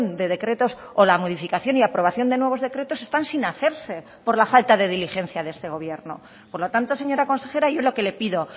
de decretos o la modificación y aprobación de nuevos decretos están sin hacerse por la falta de diligencia de este gobierno por lo tanto señora consejera yo lo que le pido